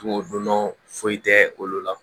don dɔn foyi tɛ olu la